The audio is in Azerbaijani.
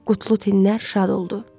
Qutlu tinlər şad oldu.